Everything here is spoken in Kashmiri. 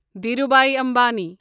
دھیروبھی امبانی